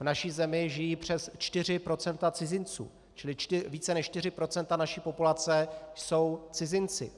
V naší zemi žijí přes 4 % cizinců, čili více než 4 % naší populace jsou cizinci.